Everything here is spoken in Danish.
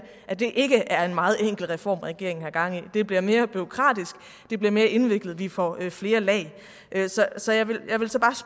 at det ikke er en meget enkel reform regeringen har gang i det bliver mere bureaukratisk det bliver mere indviklet vi får flere lag så jeg vil